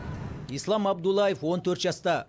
ислам абдуллаев он төрт жаста